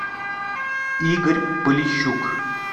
игорь полищук